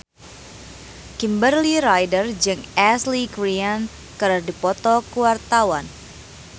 Kimberly Ryder jeung Ashley Greene keur dipoto ku wartawan